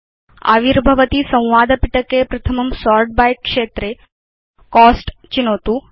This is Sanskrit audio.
आविर्भवति संवाद पिटके प्रथमं सोर्ट् बाय क्षेत्रे कोस्ट चिनोतु